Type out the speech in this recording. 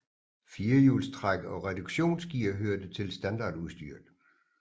Firehjulstræk og reduktionsgear hørte til standardudstyret